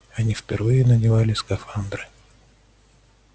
они впервые надевали скафандры